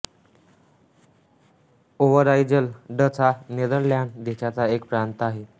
Overijssel Dutch हा Netherlands देशाचा एक प्रांत आहे